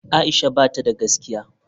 Aisha bata da gaskiya.